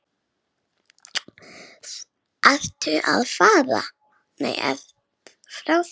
Ertu frá þér!